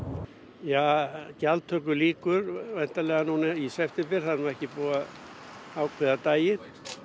já gjaldtöku lýkur væntanlega í september það er ekki búið að ákveða daginn